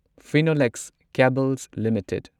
Phenolex Cables limited